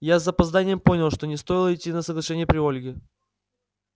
я с запозданием понял что не стоило идти на соглашение при ольге